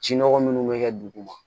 Ci nɔgɔ minnu bɛ kɛ duguma